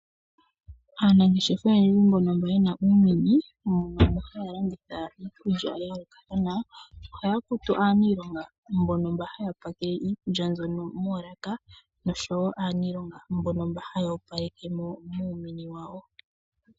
Aanangeshefa oyendji mbono yena uumini ano mbono haya landitha iikulya ya yoolokathana ohaya kutu aaniilonga mbono haya pakele iikulya mbyono moolaka noshowo aaniilonga mbono haya opalekemo muumini wawo.